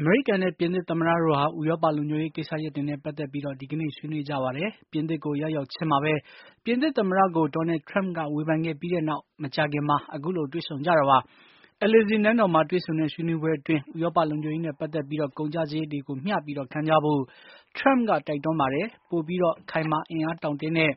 အမေရိကန်နဲ့ ပြင်သစ်သမ္မတတို့ဟာ ဥရောပလုံခြုံရေးကိစ္စရပ်တွေနဲ့ပတ်သက်ပြီး ဒီကနေ့ ဆွေးနွေးကြပါတယ်။ ပြင်သစ်ကို ရောက်ရောက်ချင်းမှာပဲ ပြင်သစ်သမ္မတကို Doanld Trump က ဝေဖန်ခဲ့ပြီးနောက် မကြာခင်မှာ အခုလို တွေ့ဆုံကြတာပါ။ Elysee နန်းတော်မှာ တွေ့ဆုံတဲ့ဆွေးနွေးပွဲအတွင်း ဥရောပလုံခြုံရေးနဲ့ ပတ်သက်ပြီး ကုန်ကျစရိတ် တွေကို မျှပြီး ခံကြဖို့ ထရမ့်ကတိုက်တွန်းခဲ့ပါတယ်။ ပိုပြီး ခိုင်မာအင့်အားတောင့်တင်းတဲ့